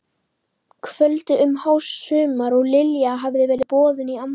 kvöldi um hásumar og Lilja hafði verið boðin í afmæli.